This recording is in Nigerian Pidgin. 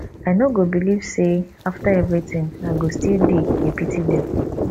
i no go believe say after everything i go still dey dey pity dem